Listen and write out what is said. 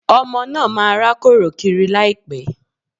Ọmọ náà máa rákòrò kiri láìpẹ̀